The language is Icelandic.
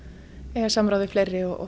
eiga samráð við fleiri og